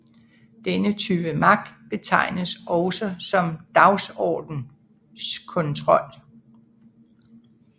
Denne type magt betegnes også som dagsordenskontrol